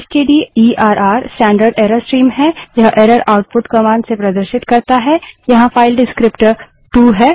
stderr standard error stream है यह error output commands से प्रदर्शित करता है यहाँ फाइल डिस्क्रीप्टर विवरणक टू है